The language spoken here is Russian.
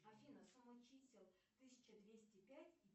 афина сумма чисел тысяча двести пять